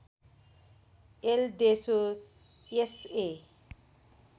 L देसो SA